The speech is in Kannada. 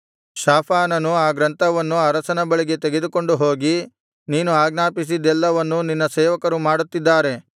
ಶಾಫಾನನು ಆ ಗ್ರಂಥವನ್ನು ಅರಸನ ಬಳಿಗೆ ತೆಗೆದುಕೊಂಡು ಹೋಗಿ ನೀನು ಆಜ್ಞಾಪಿಸಿದ್ದೆಲ್ಲವನ್ನೂ ನಿನ್ನ ಸೇವಕರು ಮಾಡುತ್ತಿದ್ದಾರೆ